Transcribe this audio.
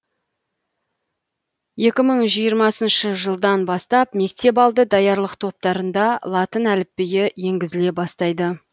екі мың жиырмасыншы жылдан бастап мектепалды даярлық топтарында латын әліпбиі енгізіле бастайды